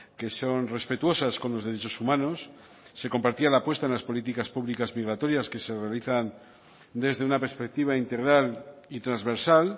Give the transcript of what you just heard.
que son respetuosas con los derechos humanos se compartía la apuesta en las políticas públicas migratorias que se realizan desde una perspectiva integral y transversal